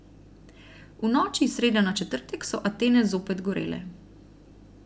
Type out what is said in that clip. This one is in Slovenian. V noči iz srede na četrtek so Atene zopet gorele.